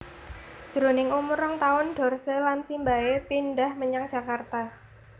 Jroning umur rong taun Dorce lan simbahé pindhah menyang Jakarta